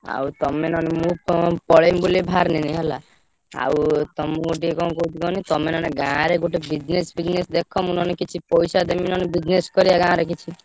ଆଉ ତମେ ନହେଲେ ମୁଁ ~ପ ପଳେଇବି ବୋଲି ବାହାରିଣି ହେଲା। ଆଉ ତମୁକୁ ଟିକେ କଣ କହୁଛି କହନି ତମେ ନହେଲେ ଗାଁରେ ଗୋଟେ business ଫିଯିନେସ ଦେଖ ମୁଁ ନହେଲେ କିଛି ପଇସା ଦେବି ନହେଲେ business କରିଆ ଗାଁରେ କିଛି।